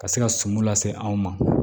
Ka se ka suman lase anw ma